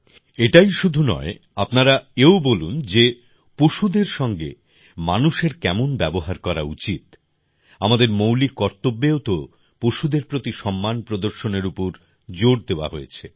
এটাই শুধু নয় আপনারা এও বলুন যে পশুর সঙ্গে মানুষের কেমন ব্যবহার করা উচিত আমাদের মৌলিক কর্তব্যেও তো পশুদের প্রতি সম্মান প্রদর্শনের উপর জোর দেওয়া হয়েছে